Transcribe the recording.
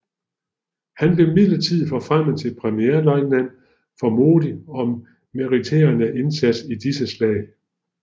Han blev midlertidigt forfremmet til premierløjtnant for modig og meriterende indsats i disse slag